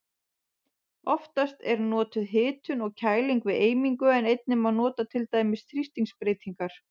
Oftast er notuð hitun og kæling við eimingu en einnig má nota til dæmis þrýstingsbreytingar.